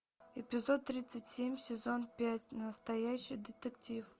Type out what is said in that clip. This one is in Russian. эпизод тридцать семь сезон пять настоящий детектив